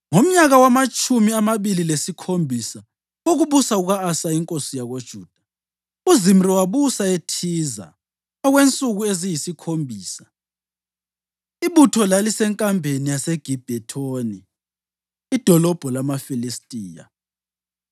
Ngomnyaka wamatshumi amabili lesikhombisa wokubusa kuka-Asa inkosi yakoJuda, uZimri wabusa eThiza okwensuku eziyisikhombisa. Ibutho lalisenkambeni yaseGibhethoni, idolobho lamaFilistiya.